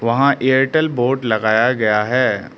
वहां एयरटेल बोर्ड लगाया गया है।